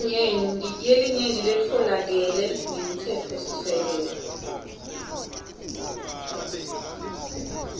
yelinyenti letfolakele ngemtsetfosisekelo